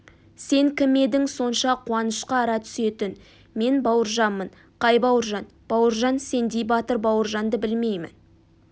сен кім едің сонша қуанышқа ара түсетін мен бауыржанмын қай бауыржан бауыржан сендей батыр бауыржанды білмеймін